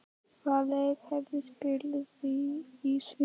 Hvaða leikkerfi spilið þið í sumar?